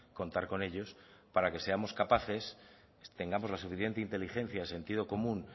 contar con ellos para que seamos capaces tengamos la suficiente inteligencia el sentido común